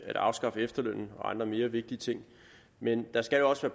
at afskaffe efterlønnen og andre mere vigtige ting men der skal også